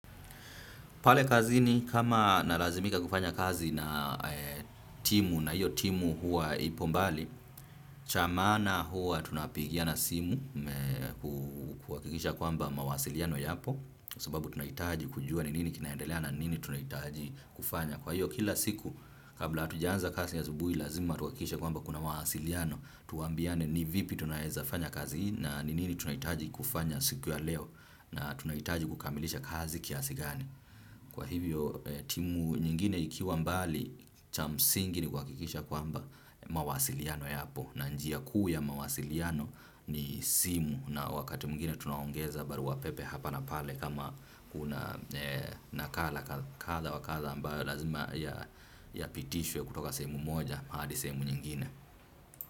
Pale kazini kama nalazimika kufanya kazi na timu na hiyo timu huwa ipo mbali, cha maana huwa tunapigiana simu kikisha kwamba mawasiliano yapo sababu tunaitaji kujua ni nini kinaendelea na nini tunaitaji kufanya. Kwa hiyo kila siku kabla tujaanza kazi asubui lazima tuwakikishe kwamba kuna mawasiliano tuambiane ni vipi tunaeza fanya kazi na nini tunaitaji kufanya siku ya leo na tunaitaji kukamilisha kazi kiasi gani. Kwa hivyo timu nyingine ikiwa mbali cha msingi ni kuwakikisha kwamba mawasiliano yapo na njia kuu yamawasiliano ni simu na wakati mwingine tunaongeza baruapepe hapa na pale kama kuna nakala kadha wakadha ambayo lazima yapitishwe kutoka sehemu moja hadi sehemu nyingine.